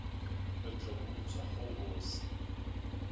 re go utswa go bose